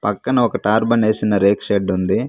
పక్కన ఒక టార్బన్ ఏసిన రేకు షెడ్ ఉంది.